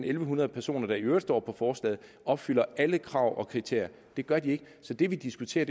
en hundrede personer der i øvrigt står i forslaget opfylder alle krav og kriterier det gør de ikke så det vi diskuterer